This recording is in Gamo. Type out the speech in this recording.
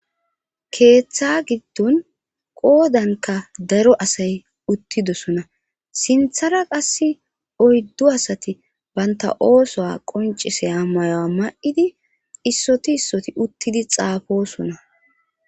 Keeththa giddon qoodanka daro asay uttidosona sinthara qas oyddu asati baynta oosoa qoncise hammayoa ma'idi issoti issoti uttidi xaafosona.